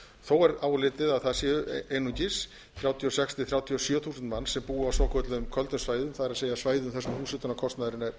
þó er álitið að það séu einungis þrjátíu og sex til þrjátíu og sjö þúsund manns sem búa á svokölluðum köldum svæðum það er svæðum þar sem húshitunarkostnaðurinn er